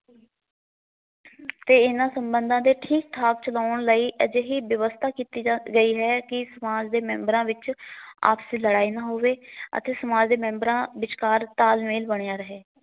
ਤੇ ਇਹਨਾਂ ਸਬੰਧਾਂ ਦੇ ਠੀਕ ਠਾਕ ਚਲਾਉਣ ਲਈ ਅਜਿਹੀ ਵਿਵਸਥਾ ਕੀਤੀ ਜਾ ਗਈ ਹੈ ਕਿ ਸਮਾਜ ਦੇ ਮੈਬਰਾ ਵਿੱਚ ਆਪਸੀ ਲੜਾਈ ਨਾ ਹੋਵੇ ਅਤੇ ਸਮਾਜ ਦੇ ਮੈਂਬਰਾ ਵਿੱਚ ਕਾਰ ਤਾਲਮੇਲ ਬਣਿਆ ਰਹੇ।